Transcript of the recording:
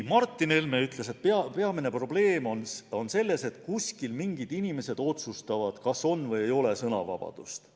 Martin Helme ütles, et peamine probleem on selles, et kuskil mingid inimesed otsustavad, kas on või ei ole sõnavabadust.